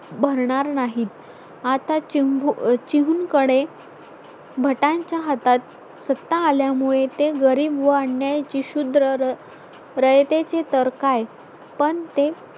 भरणार नाही आता चिंब चीहून कडे भटांच्या हातात सत्ता आल्यामुळे तो गरीब व अन्याय शुद्र रयतेचे तर काय पण ते